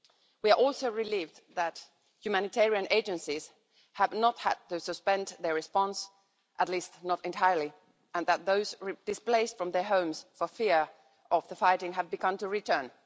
We are also relieved that humanitarian agencies have not had to suspend their response at least not entirely and that those displaced from their homes for fear of the fighting have begun to return.